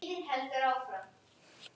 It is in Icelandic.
Elsku Elli afi er látin.